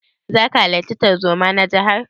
Zaka halarta tarzoma na jihar?